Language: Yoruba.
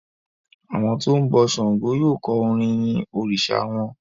Àwọn tó ń bọ ṣàngó yóò kọ orin yin òrìsà wọn.